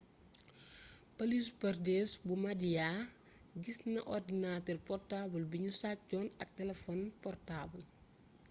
polisu pradesh bu maadhya gis na ordinatër portaabal bi nu sàccoon ak telefon portaabal